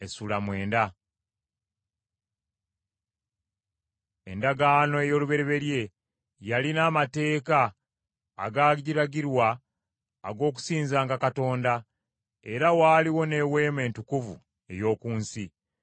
Endagaano ey’olubereberye, yalina amateeka agaalagirwa ag’okusinzanga Katonda, era waaliwo n’eweema entukuvu ey’oku nsi.